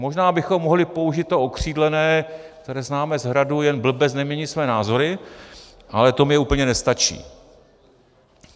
Možná bychom mohli použít to okřídlené, které známe z Hradu, "jen blbec nemění své názory", ale to mi úplně nestačí.